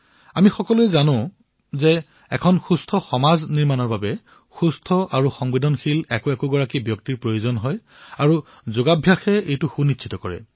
আমি সকলোৱে জানো যে এক সুস্থ সমাজৰ নিৰ্মাণৰ বাবে সুস্থ আৰু সংবেদনশীল ব্যক্তিৰ আৱশ্যক হয় আৰু যোগে এয়া সুনিশ্চিত কৰে